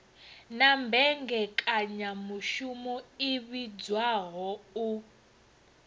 na mmbekanyamushumo i vhidzwaho u